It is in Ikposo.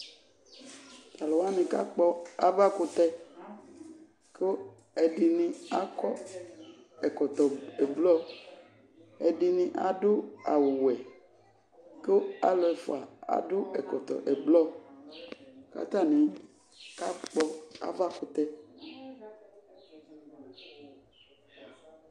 Tʋ alʋ wanɩ kakpɔ avakʋtɛ kʋ ɛdɩnɩ akɔ ɛkɔtɔ ɛblɔ Ɛdɩnɩ adʋ awʋwɛ kʋ alʋ ɛfʋa adʋ ɛkɔtɔ ɛblɔ kʋ atanɩ kakpɔ avakʋtɛ